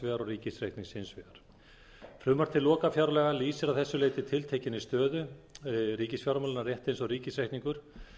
vegar og ríkisreiknings hins vegar frumvarp til lokafjárlaga lýsir að þessu leyti tiltekinni stöðu ríkisfjármálanna rétt eins og ríkisreikningur